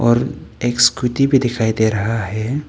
और एक स्कूटी भी दिखाई दे रहा है।